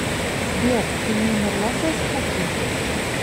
сбер ты не умерла со скуки